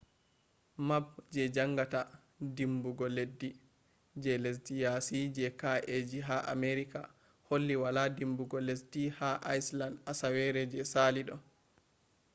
map je jangata dimbugo leddi je lesde yasi je kaeji ha america holli wala dimbugo leddi ha iceland asawere je sali do